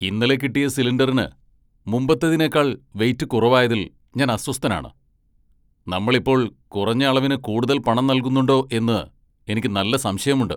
ഇന്നലെ കിട്ടിയ സിലിണ്ടറിന് മുമ്പത്തേതിനേക്കാൾ വെയിറ്റ് കുറവായതിൽ ഞാൻ അസ്വസ്ഥനാണ്. നമ്മൾ ഇപ്പോൾ കുറഞ്ഞ അളവിന് കൂടുതൽ പണം നൽകുന്നുണ്ടോ എന്ന് എനിക്ക് നല്ല സംശയമുണ്ട്.